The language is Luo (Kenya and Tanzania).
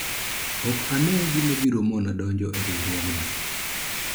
ok ane gima biro mona donjo e riwruogno